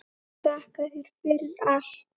Þakka þér fyrir allt.